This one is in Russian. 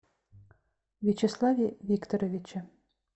вячеславе викторовиче